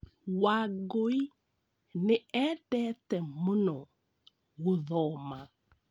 Wangũi nĩ eendete mũno gũthoma.